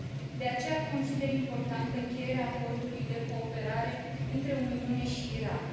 De aceea, consider importantă încheierea Acordului de cooperare între Uniune și Irak.